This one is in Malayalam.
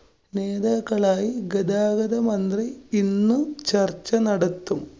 നേതാക്കളായി ഗതാഗതമന്ത്രി ഇന്നും ചര്‍ച്ച നടത്തും.